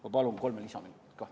Ma palun kolm lisaminutit!